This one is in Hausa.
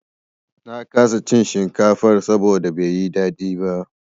Na kasa iin shinkafar saboda bai yi daɗi ba.